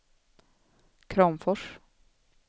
Kramfors